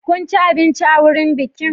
Kun ci abinci a wurin bikin?